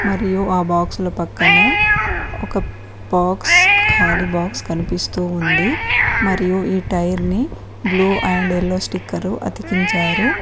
మరియు ఆ బాక్స్ల పక్కన ఒక బాక్స్ ఖాళీ బాక్స్ కనిపిస్తూ ఉంది మరియు ఈ టైర్ ని బ్లూ అండ్ ఎల్లో స్టిక్కరు అతికించారు.